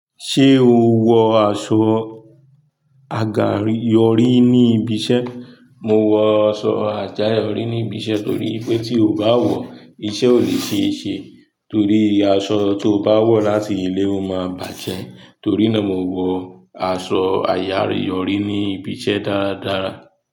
Ṣé o wọ aṣọ àgà yọrí ní ibi iṣẹ́? Mo wọ aṣọ àjáyọ̀ rí níbi iṣẹ́ torí pé tí o bá wọ̀, iṣẹ́ ò lè ṣe é ṣe torí aṣọ tó bá wọ̀ láti ilé ó máa bàjẹ́. Torí náà, mo wọ aṣọ àyà yọ̀rí ní ibi iṣẹ́ dáradára.